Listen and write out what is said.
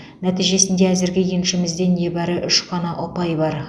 нәтижесінде әзірге еншімізде небәрі үш қана ұпай бар